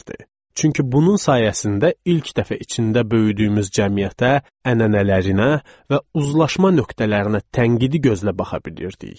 Çünki bunun sayəsində ilk dəfə içində böyüdüyümüz cəmiyyətə, ənənələrinə və uzlaşma nöqtələrinə tənqidi gözlə baxa bilirdik.